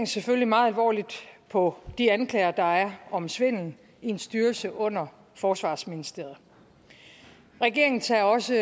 selvfølgelig meget alvorligt på de anklager der er om svindel i en styrelse under forsvarsministeriet regeringen tager også